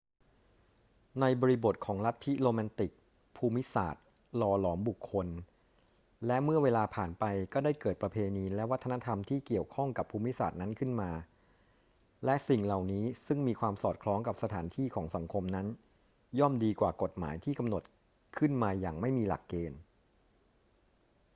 ในบริบทของลัทธิโรแมนติก ภูมิศาสตร์หล่อหลอมบุคคล และเมื่อเวลาผ่านไปก็ได้เกิดประเพณีและวัฒนธรรมที่เกี่ยวข้องกับภูมิศาสตร์นั้นขึ้นมา และสิ่งเหล่านี้ซึ่งมีความสอดคล้องกับสถานที่ของสังคมนั้น ย่อมดีกว่ากฎหมายที่กำหนดขึ้นมาอย่างไม่มีหลักเกณฑ์